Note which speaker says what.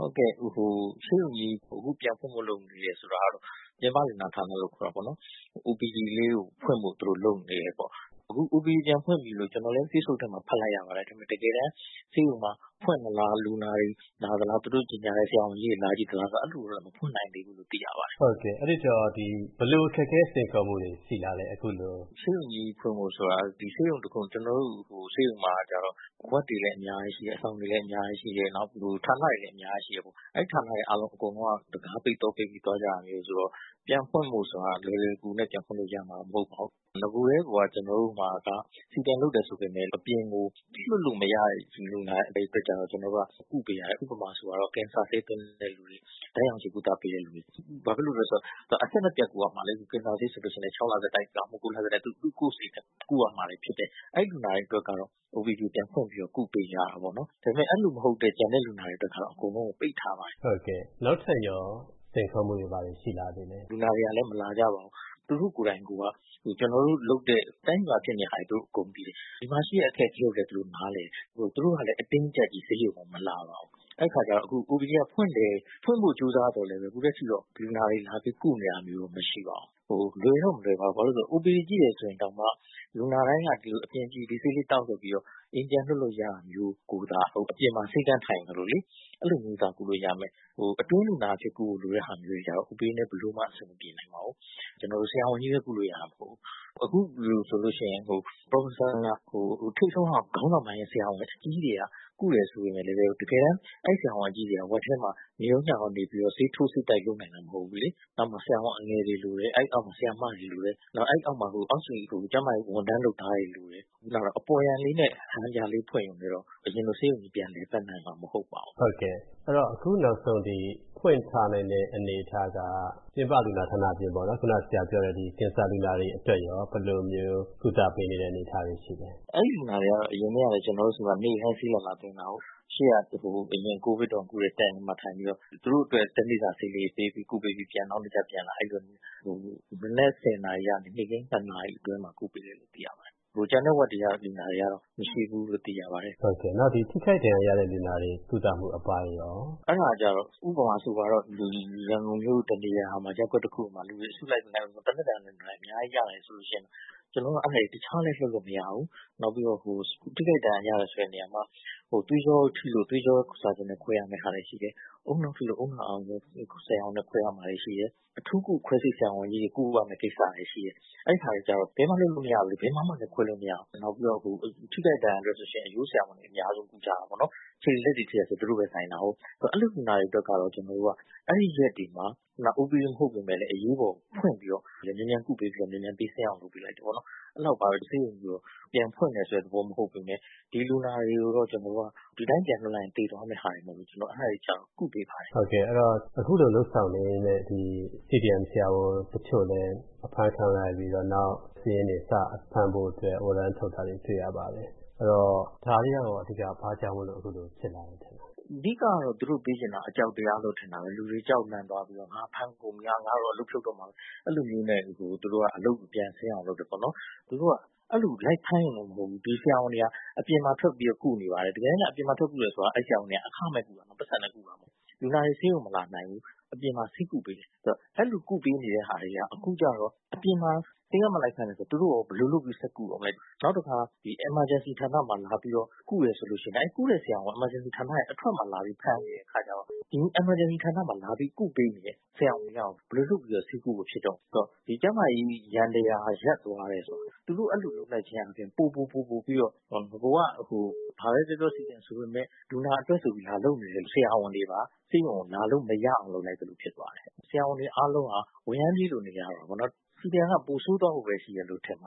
Speaker 1: ုတ်ကဲ့ ဆေးရုံကြီး အခုပြန်ဖွင့်ဖို့ လုပ်နေတယ်ဆိုတာတော့ ပြင်ပလူနာဌာနလို့ ခေါ်တာပေါ့နော် OPD လေးကို ဖွင့်ဖို့ လုပ်နေတယ်ပေါ့။ အခု OPD ပြန်ဖွင့်ပြီလို့ ကျနော်လည်း Facebook ထဲမှာ ဖတ်လိုက်ရပါတယ်။ တကယ်တမ်း ဆေးရုံမှာ ဖွင့်သလား၊ လူနာတွေလာသလား သူတို့ ကြေညာတဲ့ ဆရာဝန်ကြီးတွေလာကြည့်သလား ဆိုတော့ အဲလိုမျိုးတော့ မဖွင့်နိုင်သေးဘူး
Speaker 2: လို့ သိရပါတယ်။ မေး။ ။ ဟုတ်ကဲ့ အဲဒီတော့ ဘယ်လိုအခက်အခဲ စိန်ခေါ်မှုတွေ ရှိသလဲ။ ဖြေ။ ။ ဆေးရုံကြီး ဖွင့်ဖို့ဆိုတာ က
Speaker 1: ျနော်တို့ဆေးရုံမှာက ward တွေလည်း အများကြီးရှိတယ်။ အဆောင်တွေလည်း အများကြီးရှိတယ်၊ နောက် ဌာနတွေလည်း အများကြီးရှိတယ် ပေါ့နော် အဲဒီ ဌာနတွေအကုန်လုံးက တံခါးပိတ် သော့ပိတ်ပြီး သွားကြတာဆိုတော့ ပြန်ဖွင့်ဖို့ဆိုတာက လွယ်လွယ်ကူကူနဲ့ ပြန်ဖွင့်လို့ ရမှာ မဟုတ်သေးပါဘူး။ နဂိုကတည်းက ကျနော်တို့ CDM လုပ်တယ်ဆိုပေမယ့် အပြင်ကို လွှတ်လို့မရတဲ့ လူနာတွေကိုတော့ ကုပေးရတယ်။ ဥပမာ- ကင်ဆာဆေးသွင်းတဲ့လူတွေ၊ ဓါတ်ရောင်ချည်နဲ့ ကုသရတဲ့လူတွေ ဘာဖြစ်လို့လဲဆိုတော့ ဒါကအဆက်မပျက်ကုရမှာလေ။ ကင်ဆာဆေးဆိုရင်လည်း ၆ လဆက်တိုက်၊ ဒါမှမဟုတ် ၉ လဆက်တိုက် သူ့ အချိန်အတိုင်းအတာနဲ့ ကုရမှာဖြစ်တယ်။ အဲဒီ လူနာတွေအတွက်တော့ OPD ပြန်ဖွင့်ပြီးတော့ ကုပေးရတာပေါ့နော် ။ ဒါပေမယ့် အဲလိုမဟုတ်တဲ့ ကျန်တဲ့လူနာတွေအတွက်တော့ အကုန်လုံးကို ပိတ်ထ
Speaker 2: ားပါတယ်။ မေး။ ။ ဟုတ်ကဲ့ နောက်ထပ်ရော ဘာစိန်ခေါ်မှုတွေ ရှိသေးသလဲ။ ဖြေ။ ။ လူနာတွေကလည်း
Speaker 1: မလာကြပါဘူး။ သူတို့ကိုယ်တိုင်က ကျနော်တို့ လုပ်တဲ့ တိုင်းပြည်မှာ ဖြစ်နေတာတွေ သူတို့ အကုန်သိတယ်။ ဒီမှာရှိတဲ့ အခက်အခဲကိုလည်း သူတို့ နားလည်တယ်။ သူတို့ကလည်း အတင်းအကျပ်ကြီး ဆေးရုံကို မလာပါဘူး။ အဲဒီအခါကျတော့ OPD က ဖွင့်ဖို့ ကြိုးစားသော်လည်း အခုအထိတော့ လူနာတွေ လာပြီးတော့ ကုနေတာတော့ မရှိပါဘူး။ လွယ်တော့ မလွယ်ပါဘူး ဘာဖြစ်လို့လဲဆိုတော့ OPD ကြည့်တယ်ဆိုရင်တောင်မှ လူနာတိုင်းက ဒီဆေးလေးသောက်ဆိုပြီးတော့ အိမ်ပြန်လွှတ်လို့ရတာမျိုး ကိုသာ အပြင်မှာ ဆေးခန်းထိုင်သလိုလေ အဲလိုမျိုးသာ ကုလို့ရမယ်။ အတွင်းလူနာအနေနဲ့ ကုရမယ့်ဟာတွေတော့ OPD နဲ့ ဘယ်လိုမှ အဆင်မပြေနိုင်ပါဘူး။ ကျနော်တို့ ဆရာဝန်ကြီးပဲ ကုလို့ရတာမဟုတ်ဘူး ၊ အခုလိုဆိုရင် Professor ထိပ်ဆုံးပိုင်း ဆရာဝန်အကြီးတွေက ကုတယ်ဆိုပေမယ့်လည်း အဲဒီဆရာဝန်တွေက Ward ထဲမှာ နေရောညရော နေပြီးတော့ ဆေးထိုးဆေးတိုက်လုပ်နိုင်တာမဟုတ်ဘူး ၊ နောက်မှာ ဆရာဝန်အငယ်တွေလိုတယ်၊ အဲဒီနောက်မှာ ဆရာမတွေလိုတယ်။ အဲဒီနောက်မှာ အောက်ခြေ ကျန်းမာရေးဝန်ထမ်းလုပ်သားတွေလိုတယ်။ ခုနလို အပေါ်ယံလေးနဲ့ ဟန်ပြဖွင့်တာလောက်တော့ အရင်လို ဆေးရုံကြီး ပြန်လည်ပတ်နိုင်မှာ မဟုတ်ပါဘ
Speaker 2: ူး။ မေး။ ။ ဟုတ်ကဲ့ အခုနောက်ဆုံးဒီ ဖွင့်ထားနိုင်တဲ့ အနေအထားက ပြင်ပလူနာဌာနအပြင်ပေါ့နော် ခုန ဆရာပြောတဲ့ ကင်ဆာလူနာတွေအတွက်ရော ဘယ်လိုမျိုး ကုသပေးနေတဲ့ အနေအထားတွေရှိသလဲ။ ဖြေ
Speaker 1: ။ ။ အဲဒီလူနာတွေကတော့ အရင်ကတည်းကလည်း ကျနော်တို့ဆီမှာ နေ့တိုင်းဆေးလာလာသွင်းတာကို၊ အရင် COVID တုန်းက ကုတဲ့ tent မှာထိုင်ပြီးတော့ သူတို့အတွက် ၁ နေ့စာ ဆေးလေးတွေ ပေးပြီးကုပေးပြီး နောက်နေ့ကျရင်ပြန်လာ အဲလိုမျိုးနဲ့ မနက် ၁၀ နာရီကနေ နေ့ခင်း ၂ နာရီ အတွင်းမှာ ကုပေးတယ်လို့ သိရပါတယ်။ ကျန်တဲ့ Ward တွေက လူနာတွေကတော့ မရှိဘူးလို့ သိရပါတ
Speaker 2: ယ်။ မေး။ ။ ဟုတ်ကဲ့ ဒီ ထိခိုက်ဒဏ်ရာရလူနာတွေ ကုသမှုအပိုင်းရော။ ဖြေ။ ။ အဲဒါ
Speaker 1: ကျတော့ ဥပမာဆိုပါတော့ ရန်ကုန်မြို့တနေရာမှာ ရပ်ကွက်တခုမှာ လူနာတွေ အစုလိုက်သေနတ်ဒဏ်ရာတွေ အများကြီးရတယ်ဆိုရင် ကျနေ်ာတို့ အဲဒါတွေကို တခြားလည်း လွှတ်လို့မရဘူး။ နောက်ပြီးတော့ ထိခိုက်ဒဏ်ရာရတယ်ဆိုတဲ့နေရာတွေမှာ သွေးကြောထိလို့ သွေးကြော surgeon နဲ့ခွဲရမယ့်ဟာတွေရှိတယ်။ ဦးနှောက်ထိလို့ ဦးနှောက်အာရုဏ်ကြောဆရာဝန်နဲ့ ခွဲရမယ့် လူနာတွေရှိတယ်။ အထူးကု ခွဲစိတ်ဆရာဝန်ကြီးတွေ ကုရမယ့် ကိစ္စတွေရှိတယ်။ အဲဒါတွေကျတော့ ဘယ်မှ လုပ်လို့မရဘူး ၊ ဘယ်မှာမှလည်း ခွဲလို့မရဘူး ။ နောက်ပြီးတော့ ထိခိုက်ဒဏ်ရာအတွက်ဆိုရင် အရိုးဆရာဝန်တွေ အများဆုံးကုကြတာပေါ့နော် ခြေတွေ လက်တွေထိတယ်ဆိုရင် သူတို့ပဲ ဆိုင်တာကို။ အဲဒီလူနာတွေအတွက်က အဲဒီရက်တွေမှာ IPD မဟုတ်ပေမယ့်လည်း အရေးပေါ် ဖွင့်ပေးပြီးတော့ မြန်မြန်ကုပေးပြီးတော့ မြန်မြန်ပြီးဆင်းအောင် လုပ်ပေးလိုက်တယ်ပေါ့နော် အဲလောက်ပါပဲ ဆေးရုံ ပြန်ဖွင့်တယ်ဆိုတဲ့ သဘောမဟုတ်ပေမယ့် ဒီလူနာတွေကို ကျနော်တို့က ဒီအတိုင်းပြန်လွှတ်လိုက်ရင်သေသွားမယ့်ဟာတွေမို့လို့ ကျနေ်ာတို့ အဲဒါကျတော့ ကုပေး
Speaker 2: ပါတယ်။ မေး။ ။ ဟုတ်ကဲ့ အခုလို လုပ်ဆောင်နေရင်းနဲ့ ဒီ CDM ဆရာဝန်တချို့လည်း အဖမ်းခံလိုက်ရပြီးတော့ နောက် စာရင်းတွေ စဖမ်းဖို့အတွက် ဝရမ်းထုတ်ထားတာတွေ တွေ့ရပါတယ်။ ဒါတွေကရော ဘာကြောင့်အခုလိုဖြစ်လာတယ်ထင်သလဲ။ ဖြေ။ ။ အဓိကတော့ သူတို့ပေးချင်တာက အ
Speaker 1: ကြောက်တရားလို့ ထင်တယ်။ လူတွေကြောက်လန့်သွားပြီးတော့ ငါ့ကို ဖမ်းပြီလား ငါ့ကို အလုပ်ဖြုတ်တော့မှာပဲ အဲလိုမျိုးနဲ့ သူတို့က အလုပ်ပြန်ဆင်းအောင်လုပ်တယ်ပေါ့နော်။ သူတို့က အဲလိုလိုက်ဖမ်းရုံတင်မဟုတ်ဘူး ဒီဆရာဝန်တွေက အပြင်မှာ ထွက်ပြီးတော့ ကုနေပါတယ်။ တကယ်တမ်းကျတော့ အပြင်မှာထွက်ကုတယ်ဆိုတာက ဒီဆရာဝန်တွေက အခမဲ့ကုတယ် ပိုက်ဆံနဲ့ ကုတာမဟုတ်ဘူး။ လူနာတွေ ဆေးရုံမလာနိုင်ဘူး အပြင်မှာ ဆေးကုပေးတယ်။ အဲဒီလို ကုပေးနေတာတွေက အခုကျတော့ အပြင်မှာ ဆေးခန်းမှာ လိုက်ဖမ်းတယ်ဆိုရင် သူတို့ရော ဘယ်လိုဆက်ကုမလဲ ။ နောက်တခါ Emergency ဌာနမှာ လာပြီးတော့ ကုတယ်ဆိုရင် ကုတဲ့ဆရာဝန်တွေက Emergency ဌာနအထွက်မှာ လာပြီးတော့ ဖမ်းနေတယ် ၊ အဲဒီတော့ Emergency ဌာနမှာ လာပြီးတော့ ကုတဲ့ ဆရာဝန်တွေက ဘယ်လိုလုပ်ပြီးတော့ ဆေးကုဖို့ ဖြစ်တော့မလဲ ဆိုတော့ ကျန်းမာရေး ယန္တရားရပ်သွားတယ်ဆိုတာက သူတို့ အဲလို လုပ်လိုက်ခြင်းအားဖြင့် ပိုပြီးတော့ ဘာပဲပြောပြော CDM ဆိုပေမယ့် လူနာတွေအတွက် လာလုပ်နေတဲ့ ဆရာဝန်တွေပါ ဆေးရုံကို လာလို့မရအောင် လုပ်လိုက်သလိုဖြစ်သွားတယ်။ ဆရာဝန်တွေအားလုံးက ဝရမ်းပြေးလို နေရတာပေါ့နော် CDM က ပိုဆိုးသွားဖို့ပဲရှိတယ်လို့ ထင်ပ